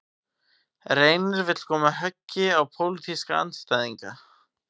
Reynir vill koma höggi á pólitíska andstæðinga